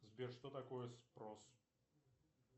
сбер что такое спрос